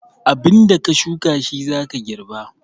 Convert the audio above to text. Abin da ka shuka shi za ka garba